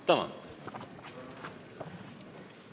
Tänan!